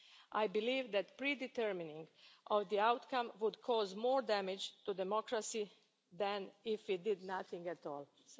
I believe that pre determining the outcome would cause more damage to democracy than if it did nothing at